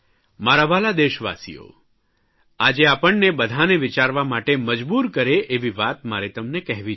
મારા વ્હાલા દેશવાસીઓ આજે આપણને બધાંને વિચારવા માટે મજબૂર કરે એવી વાત મારે તમને કહેવી છે